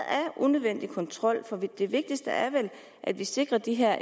unødvendig kontrol for det vigtigste er vel at vi sikrer de her